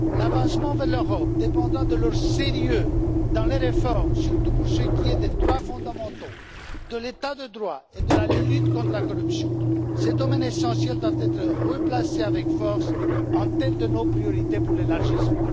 L'avancement vers l'Europe dépendra de leur sérieux dans les réformes, surtout pour ce qui est des droits fondamentaux, de l'état de droit et de la lutte contre la corruption. Ces domaines essentiels doivent être replacés avec force en tête de nos priorités pour l'élargissement.